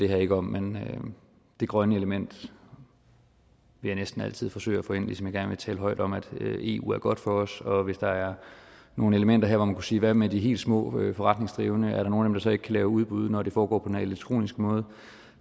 her ikke om men det grønne element vil jeg næsten altid forsøge at få ind ligesom jeg gerne vil tale højt om at eu er godt for os og hvis der er nogle elementer her hvor man kunne sige hvad med de helt små forretningsdrivende er der nogen så ikke kan lave udbud når det foregår på den her elektroniske måde